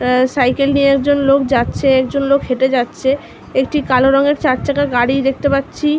Cycle নিয়ে একজন লোক যাচ্ছে একজন লোক হেঁটে যাচ্ছে একটি কালো রঙের চার চাকা গাড়ি দেখতে পাচ্ছি।